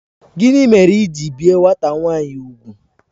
Gịnị mere i ji bie nwata nwanyi úgwù?